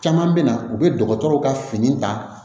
Caman bɛ na u bɛ dɔgɔtɔrɔw ka fini ta